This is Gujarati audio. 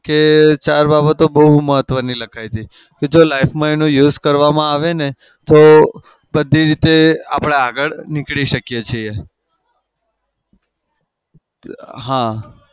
કે ચાર બાબતો બઉ મહત્વની લખાય હતી. કે જો life માં એનો use કરવામાં આવે ને તો બધી રીતે આપડે આગળ નીકળી શકીએ છીએ. હા